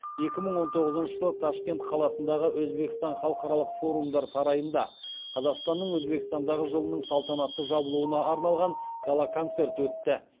екі мың он тоғызыншы жылы ташкент қаласындағы өзбекстан халықаралық форумдар сарайында қазақстанның өзбекстандағы жылының салтанатты жабылуына арналған гала концерт өтті